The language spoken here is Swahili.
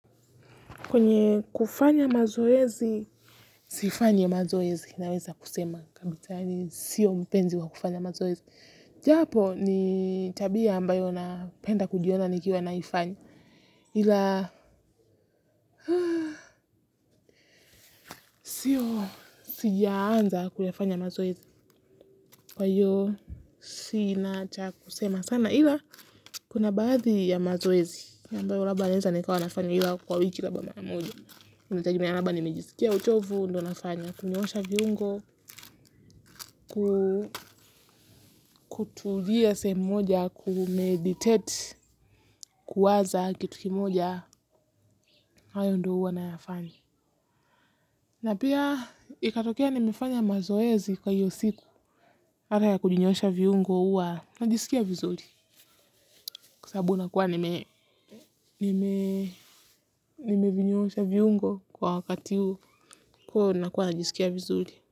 Kwenye kufanya mazoezi, sifanyi mazoezi, naweza kusema. Sio mpenzi wa kufanya mazoezi. Japo, ni tabia ambayo napenda kujiona nikiwa naifanya. Ila, siyo, sijaanza kuyafanya mazoezi. Kwa hiyo, si inacha kusema sana. Ila, kuna baadhi ya mazoezi ambayo labda naeza nikawa nafanya ila kwa wiki labda mara moja. Inatagemea kama nimejisikia uchovu, ndo nafanya, kunyoosha viungo, kutulia sehemu moja, kumeditate, kuwaza kitu kimoja, hayo ndo huwa nayafanya. Na pia ikatokea nimefanya mazoezi kwa hiyo siku, baada ya kunyoosha viungo huwa, najisikia vizuri, kwa sababu nakuwa nime nimevinyoosha viungo kwa wakati huu kuwa nakuwa najisikia vizuri.